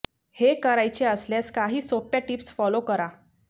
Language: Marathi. हे करायचे असल्यास काही सोप्या टिप्स फॉलो करा